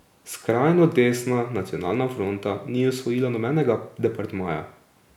Skrajno desna Nacionalna fronta ni osvojila nobenega departmaja.